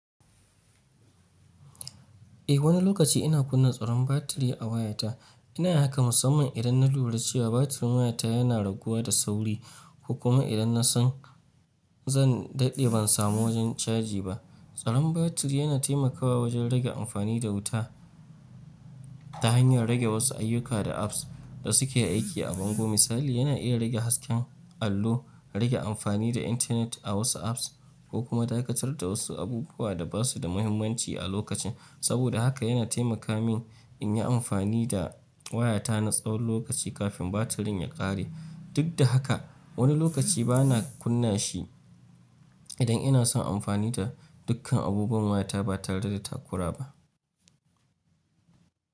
Eh wani lokaci ina kunna tsaron batiri a wayata. Ina haka musamman idan na lura cewa batirin wayata yana raguwa da sauri ko kuma idan na san zan daɗe ban samu wajen caji ba. Tsaron batiri yana temakawa wajen rage amfani da wuta ta hanyar rage wasu ayyuka da apps da suke aiki a bango. Misali, yana iya rage hasken allo, rage amfani da intanet a wasu apps ko kuma dakatar da wasu abubuwa da ba su da mahimmanci a lokacin. Saboda haka yana temaka min in yi amfani da wayata na tsawon lokaci kafin batirin ya ƙare. Dik da haka, wani lokaci bana kunna shi. Idan ina son amfani da dukkan abubuwan wayata ba tare da takura ba.